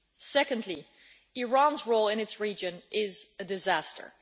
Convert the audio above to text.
Secondly, Iran's role in its region is a disaster.